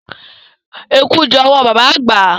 Eku jẹ́ owó baba àgbà.